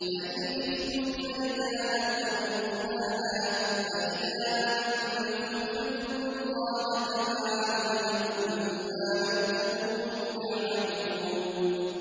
فَإِنْ خِفْتُمْ فَرِجَالًا أَوْ رُكْبَانًا ۖ فَإِذَا أَمِنتُمْ فَاذْكُرُوا اللَّهَ كَمَا عَلَّمَكُم مَّا لَمْ تَكُونُوا تَعْلَمُونَ